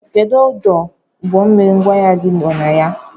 Kedụ ọdụ ụgbọmmiri ngwaahịa gi nọ na ya?